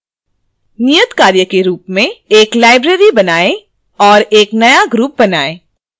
नियतकार्य के रूप मेंएक नई library बनाएँ और एक नया group बनाएँ